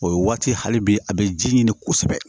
O ye waati hali bi a be ji ɲini kosɛbɛ